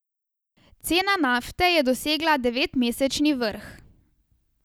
Cena nafte je dosegla devetmesečni vrh.